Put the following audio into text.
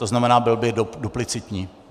To znamená, byl by duplicitní.